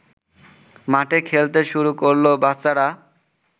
মাঠে খেলতে শুরু করল বাচ্চারা